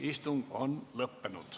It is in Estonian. Istung on lõppenud.